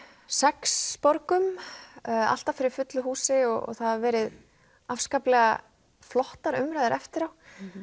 sex borgum alltaf fyrir fullu húsi og það hefur verið afskaplega flottar umræður eftir á